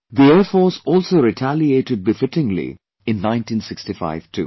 The Air Force also retaliated befittingly in 1965 too